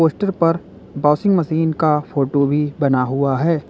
Poster पर washing machine का photo भी बना हुआ है।